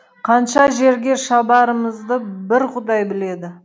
қанша жерге шабарымызды бір құдай біледі